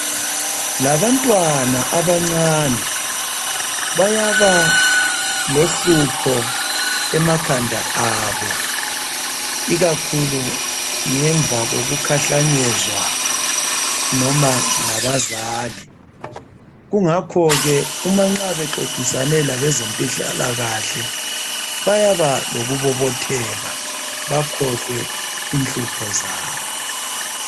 Labantwana abancane bayabalohlupho emakhanda abo ikakhulu ngemva kokukhahlanyezwa noba ngabazali. Kungakhoke nxa bexoxisane labezempilakahle bayaba lokubobotheka bakhohlwe inhlupho zabo.